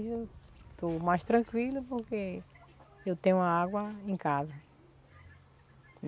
Hoje eu estou mais tranquila porque eu tenho a água em casa.